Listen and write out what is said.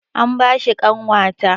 An ba shi ƙanwata